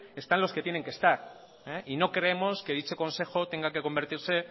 están los que tienen que estar y no creemos que dicho consejo tenga que convertirse